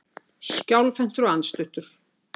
Skjálfhentur og andstuttur.